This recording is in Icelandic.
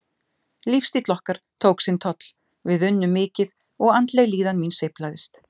Lífsstíll okkar tók sinn toll, við unnum mikið og andleg líðan mín sveiflaðist.